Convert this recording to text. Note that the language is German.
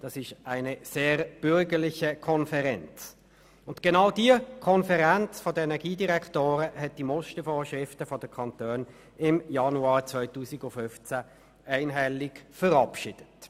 Somit handelt es sich um eine sehr bürgerliche Konferenz, und sie hat die Mustervorschriften der Kantone im Januar 2015 einhellig verabschiedet.